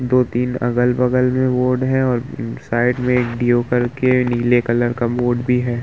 दो-तीन अगल-बगल में बोर्ड है और न्-साइड में एक के नीले कलर का मोड भी है।